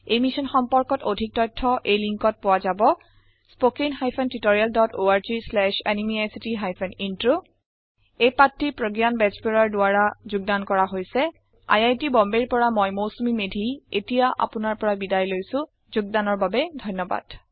এই মিছন সম্পৰ্কে অধিক তথ্য এই লিন্কত পোৱা যাব spoken hyphen tutorial dot org slash এনএমইআইচিত হাইফেন ইন্ট্ৰ এই পাঠ টি প্ৰগয়ান বেজবৰুৱাৰ দ্ৱাৰা কৰা হৈছে আই আই টী বম্বে ৰ পৰা মই মৌচুমী মেধী এতিয়া আপুনাৰ পৰা বিদায় লৈছো যোগদানৰ বাবে ধন্যবাদ